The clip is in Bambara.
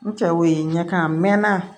N cɛw ye ɲɛ kan mɛn